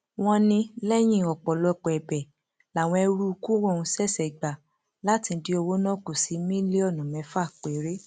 wọn ní lẹyìn ọpọlọpọ ẹbẹ làwọn eruùkù ọhún ṣẹṣẹ gbà láti dín owó náà kù sí mílíọnù mẹfà péré